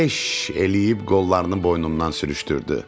Eş eləyib qollarını boynundan sürüşdürdü.